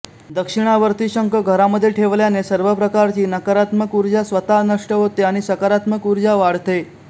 दक्षिणावर्ती शंख घरामध्ये ठेवल्याने सर्व प्रकारची नकारात्मक उर्जा स्वतः नष्ट होते आणि सकारात्मक उर्जा वाढते